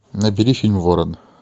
набери фильм ворон